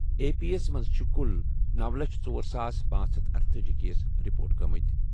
A P S منٛز چھِ کُل نوَ لچھ ژۄر ساس پانژھ ہتھَ ارتأجی کیس رپورٹ گٔمٕتۍ۔